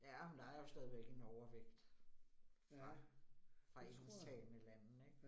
Ja, men der jo stadigvæk en overvægt fra fra engelsktalende lande ik